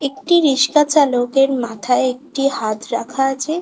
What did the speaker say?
একটি রিস্কা চালকের মাথায় একটি হাত রাখা আছে।